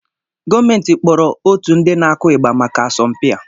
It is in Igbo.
Gọọmenti kpọrọ otu ndị na-akụ igba maka asọmpi a